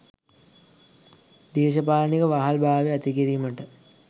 දේශපාලනික වහල් භාවය ඇති කිරීමට